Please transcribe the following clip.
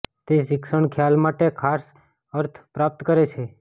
તે શિક્ષણ ખ્યાલ માટે ખાસ અર્થ પ્રાપ્ત કરે છે